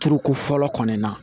Turuko fɔlɔ kɔni na